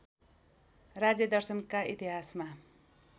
राज्यदर्शनका इतिहासमा